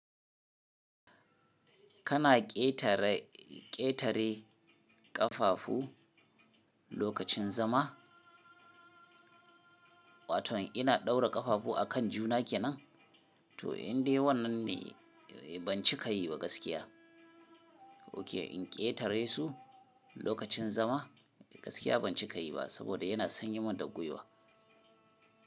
Kana ƙetare ƙetare ƙafafu lokacin zama. Wato ina ɗaura ƙafafu a kan juna ke nan to indai wannan ne ban cika yi ba gaskiya. Oke in ƙetare su lokacin zama gaskiya ban cika yi ba saboda yana sanyemin da gwiwa.